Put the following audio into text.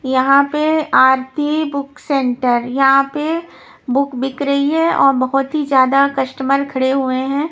यहाँ पे Aarti book centre यहाँ पे बुक बिक रही है और बहुत ही ज्यादा कस्टमर खड़े हुए हैं।